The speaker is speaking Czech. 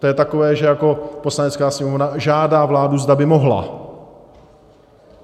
To je takové, že jako Poslanecká sněmovna žádá vládu, zda by mohla.